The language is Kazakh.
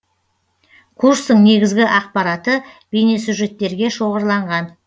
курстың негізгі ақпараты бейнесюжеттерге шоғырланған